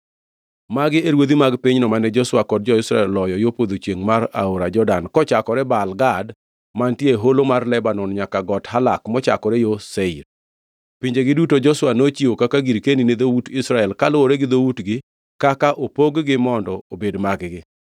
Magi e ruodhi mag pinyno mane Joshua kod jo-Israel oloyo yo podho chiengʼ mar aora Jordan, kochakore Baal Gad mantie e Holo mar Lebanon nyaka Got Halak mochakore yo Seir. Pinjegi duto Joshua nochiwo kaka girkeni ni dhout Israel kaluwore gi dhoutgi kaka opog-gi mondo obed mag-gi.